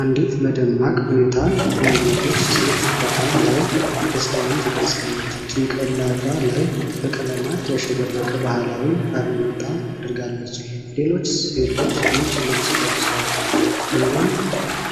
አንዲት በደማቅ ሁኔታ ያጌጠች ሴት በዓል ላይ ደስታዋን ትገልጻለች። ጭንቅላቷ ላይ በቀለማት ያሸበረቀ ባህላዊ ባርኔጣ አድርጋለች። ሌሎች ሴቶች ነጭ ልብስ ለብሰዋል፤ አንዱ